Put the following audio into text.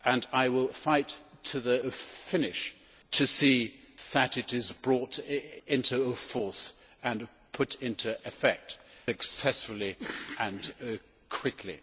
I will fight to the finish to see that it is brought into force and put into effect successfully and quickly.